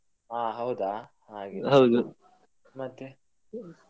ಹಾ ಹೌದಾ ಹಾಗೆ ಮತ್ತೆ.